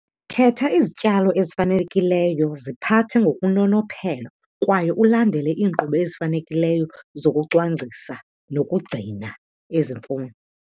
Khetha izityalo ezifanelekileyo. Ziphathe ngokunonophelo kwaye ulandele iinkqubo ezifanelekileyo zokucwangcisa nokugcina ezi mfuno.